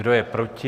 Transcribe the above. Kdo je proti?